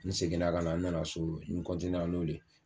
N seginna kana, n nana so, n ra n'olu ye.